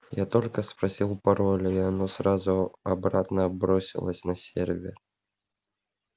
я только спросил пароль и оно сразу обратно бросилось на сервер